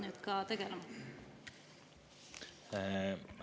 … nüüd ka tegelema?